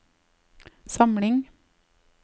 samling